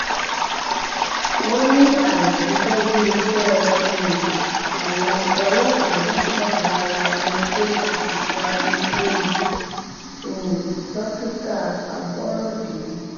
wọn ní àìṣiṣẹ bíi ìṣe um àwọn ọlọpàá náà wà lára ohun tó ṣokùnfà ikú um dókítà aborode